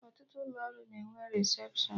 Ọtụtụ ụlọ ọrụ na enwe resepshọn